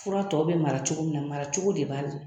Fura tɔ bɛ mara cogo min na maracogo de b'a la.